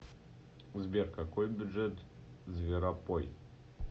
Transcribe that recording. сбер какой бюджет зверопой